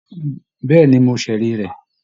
Bẹ́ẹ̀ ni, mo ṣẹ̀rí rẹ̀